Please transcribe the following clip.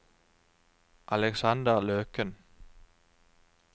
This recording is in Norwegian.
Aleksander Løken